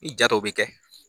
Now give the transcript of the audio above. Ni ja dɔw bɛ kɛ.